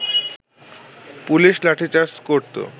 police lathicharge করত